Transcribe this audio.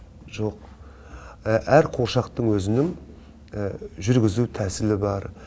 жоқ әр қуыршақтың өзінің жүргізу тәсілі бар